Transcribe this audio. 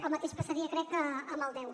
el mateix passaria crec amb el deu